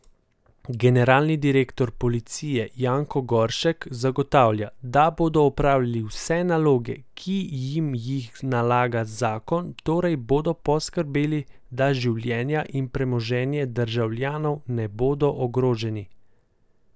Generalni direktor policije Janko Goršek zagotavlja, da pa bodo opravljali vse naloge, ki jim jih nalaga zakon, torej bodo poskrbeli, da življenja in premoženje državljanov ne bodo ogroženi.